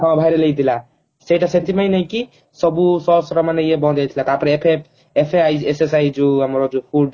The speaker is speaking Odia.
ହଁ viral ହେଇଥିଲା ସେଇଟା ସେଠି ପାଇଁ ନୁହେଁ କି ସବୁ Sause ର ମାନେ ଇଏ ବନ୍ଦ ହେଇଥିଲା ତାପରେ F SISSI ଯୋଉ ଆମର ଯୋଉ